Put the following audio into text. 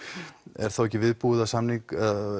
er þá ekki viðbúið að